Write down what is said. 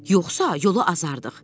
“Yoxsa yola azardıq.”